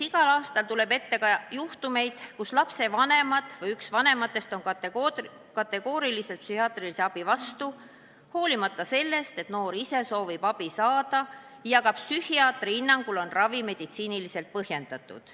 Igal aastal tuleb ette ka juhtumeid, kui lapsevanemad või üks vanematest on kategooriliselt psühhiaatrilise abi vastu, hoolimata sellest, et noor ise soovib abi saada ja ka psühhiaatri hinnangul on ravi meditsiiniliselt põhjendatud.